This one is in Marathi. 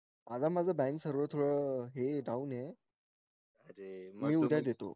अरे माझा bank server थोडा down ये मी उद्या देतो